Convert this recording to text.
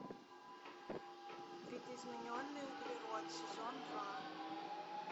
видоизмененный углерод сезон два